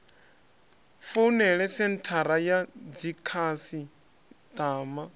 founele senthara ya dzikhasi ṱama